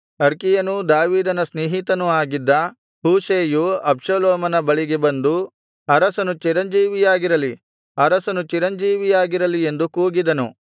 ಅರ್ಕಿಯನೂ ದಾವೀದನ ಸ್ನೇಹಿತನೂ ಆಗಿದ್ದ ಹೂಷೈಯು ಅಬ್ಷಾಲೋಮನ ಬಳಿಗೆ ಬಂದು ಅರಸನು ಚಿರಂಜೀವಿಯಾಗಿರಲಿ ಅರಸನು ಚಿರಂಜೀವಿಯಾಗಿರಲಿ ಎಂದು ಕೂಗಿದನು